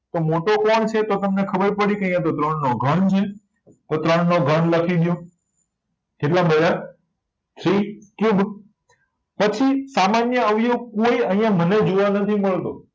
તો મોટો કોણ છે તો તમને ખબર પણી કે આયાતો ત્રણનો ઘન છે તો ત્રણનો ઘન લખી દયો કેટલા સી ક્યુબ પછી સામાન્ય અવયવ કોય મને આયા મને જોવા નથી મળતો